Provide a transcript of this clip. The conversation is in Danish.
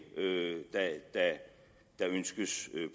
der ønskes